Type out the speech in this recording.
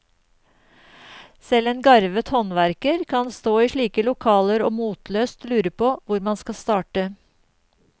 Selv en garvet håndverker kan stå i slike lokaler og motløst lure på hvor man skal starte.